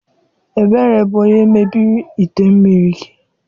Ebere bu onye mebiri ite mmiri gi.